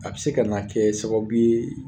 A bi se ka na kɛ sababu ye